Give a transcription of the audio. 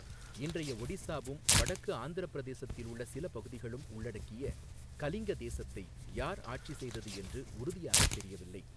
இன்றைய ஒடிசாவும் வடக்கு ஆந்திரப் பிரதேசத்தில் உள்ள சில பகுதிகளும் உள்ளடங்கிய கலிங்க தேசத்தை யார் ஆட்சி செய்தது என்று உறுதியாகத் தெரியவில்லை.